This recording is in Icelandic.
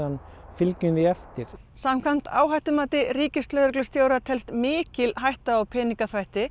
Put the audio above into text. fylgjum því eftir samkvæmt áhættumati ríkislögreglustjóra er mikil hætta á peningaþvætti